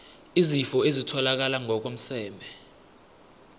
izifo ezitholakala ngokomseme